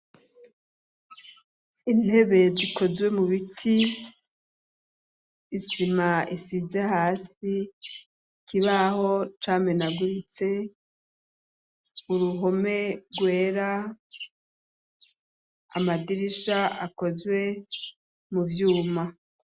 Intebe zikozwe mu biti, isima isize hasi, kibaho camenaguritse, uruhome rwera, amadirisha akozwe mu vyuma.